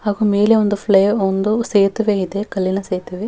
ಹಾಗು ಮನುಷ್ಯರು ಬಹಳ ಆಂ ಅಆಆ ನೀರಿ ನದಿಯಲ್ಲಿ ಅ ಓಡಾಡುತ್ತಾ --